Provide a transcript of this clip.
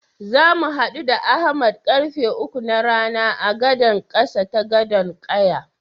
Zamu haɗu da Ahmad karfe uku na rana a gadan ƙasa ta Gadon ƙaya.